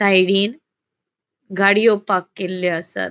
गाड़ियों पार्क केल्यो आसात.